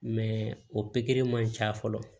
o pikiri man ca fɔlɔ